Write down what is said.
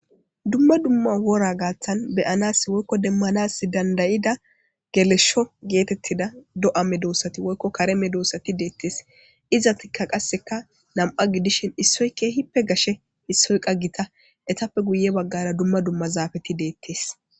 Duma duma wora gaathan dooranasi woyko be'anasi danda'ida gelesho heetetida do'a meedosati woyko kare medosati deetes izatika kaseka nam'a gidishin issoy keehipe gashe issoy issoyqa gita eetape guye bagara duma duma zaafeti deetes.